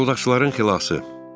Fırıldaqçıların xilası.